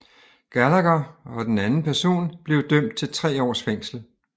Gallagher og den anden person blev dømt til 3 års fængsel